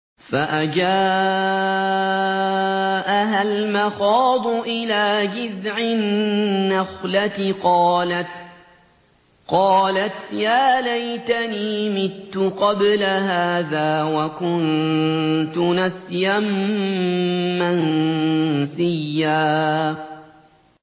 فَأَجَاءَهَا الْمَخَاضُ إِلَىٰ جِذْعِ النَّخْلَةِ قَالَتْ يَا لَيْتَنِي مِتُّ قَبْلَ هَٰذَا وَكُنتُ نَسْيًا مَّنسِيًّا